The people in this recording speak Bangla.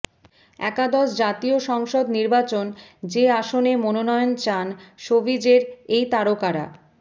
একাদশ জাতীয় সংসদ নির্বাচন যে আসনে মনোনয়ন চান শোবিজের এই তারকারা